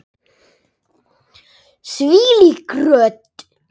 Þvílík rödd!